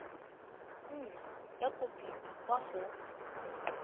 nna ya kopiwa kwa go